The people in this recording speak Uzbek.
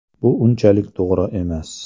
Bu unchalik to‘g‘ri emas.